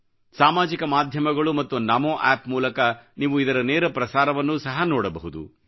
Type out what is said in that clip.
ಸಾಮಾಜಿಕ ಮಾಧ್ಯಮಗಳು ಮತ್ತು ನಮೋ ಆಪ್ ಮೂಲಕ ನೀವು ಇದರ ನೇರ ಪ್ರಸಾರವನ್ನು ಸಹ ನೋಡಬಹುದು